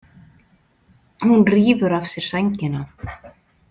Hún rífur af sér sængina.